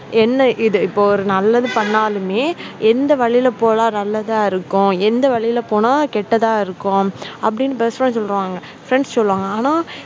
என்ன இது இப்போ ஒரு நல்லது பண்ணாலுமே வந்து எந்த வழியில் போலாம் போனா நல்லது இருக்கும் எந்த வழியா போனா கெட்டதா இருக்கும் அப்படின்னு best friend சொல்லுவாங்க friend சொல்லுவாங்க ஆனா